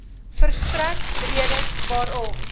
verstrek redes waarom